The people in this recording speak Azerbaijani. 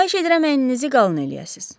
Xahiş edirəm əlinizi qalın eləyəsiz.